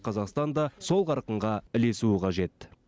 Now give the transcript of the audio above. қазақстан да сол қарқынға ілесуі қажет